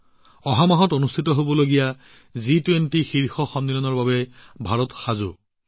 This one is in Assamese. অহা মাহত অনুষ্ঠিত হবলগীয়া জি২০ নেতা সন্মিলনৰ বাবে ভাৰত সম্পূৰ্ণৰূপে প্ৰস্তুত